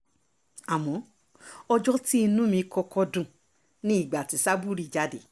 àmọ́ ọjọ́ tí inú mi kọ́kọ́ dùn ni ìgbà tí sábúrì jáde